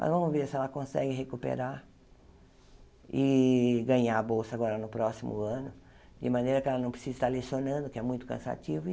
Mas vamos ver se ela consegue recuperar e ganhar a bolsa agora no próximo ano, de maneira que ela não precisa estar lecionando, que é muito cansativo.